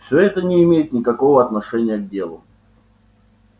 всё это не имеет никакого отношения к делу